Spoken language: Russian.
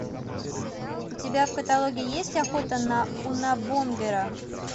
у тебя в каталоге есть охота на унабомбера